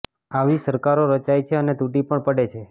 આવી સરકારો રચાય છે અને તૂટી પણ પડે છે